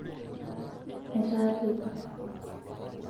etaa teipa